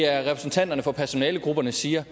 repræsentanter for personalegrupperne siger